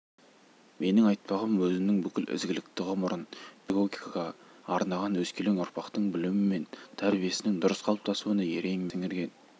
менің айтпағым өзінің бүкіл ізгілікті ғұмырын педагогикаға арнаған өскелең ұрпақтың білімі мен тәрбиесінің дұрыс қалыптасуына ерен еңбегін сіңірген